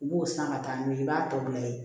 U b'o san ka taa n'u ye i b'a tɔ bila yen